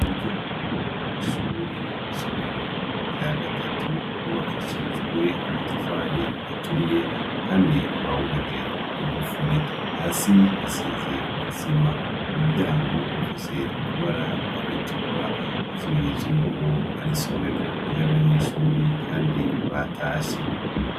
Umuryango w'ishure w''isomero rya gatatu yubakishijwe amatafari aturiye kandi bawugaje igufuri hasi hasize isima. Uwo muryango ufise ibara ritukura n'ikimenyetso yuko ari isomero ry'abanyeshure kandi batashe.